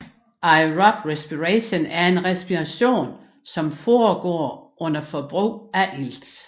Aerob respiration er respiration som foregår under forbrug af ilt